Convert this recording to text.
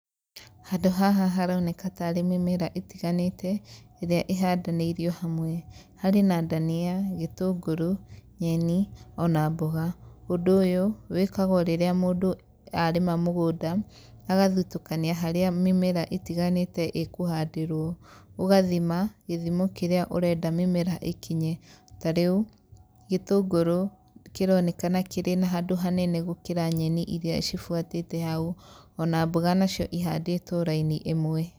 Handũ haha haroneka tarĩ mĩmera ĩtiganĩte ĩrĩa ĩhandanĩirio hamwe, harĩ na ndania, gĩtũngũrũ, nyeni ona mbũga. Ũndũ ũyũ wĩkagwo rĩrĩa mũndũ arĩma mũgũnda agathitũkania harĩa mĩmera ĩtiganĩte ĩkũhandirwo, ugathima gĩthimo kĩrĩa ũrenda mĩmera ĩkinye. Tarĩu, gĩtũngũrũ kĩronekana kĩrĩ na handũ hanene gũkĩra nyeni ĩria cibuatĩte hau, ona mbũga ona cio cihandĩtwo raini ĩmwe.